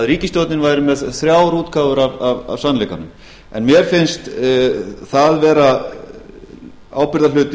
ríkisstjórnin væri með þrjár útgáfur af sannleikanum mér finnst það vera ábyrgðarhluti